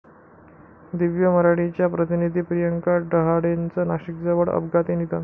दिव्य मराठीच्या प्रतिनिधी प्रियंका डहाळेचं नाशिकजवळ अपघाती निधन